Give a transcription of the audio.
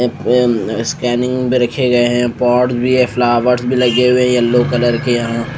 ऐ एम अ स्कैनिंग पे रखे गए हैं पॉड भी है फ्लावर्स भी लगे हुए हैं येलो कलर के हैं।